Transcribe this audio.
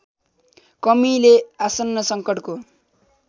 कमीले आसन्न सङ्कटको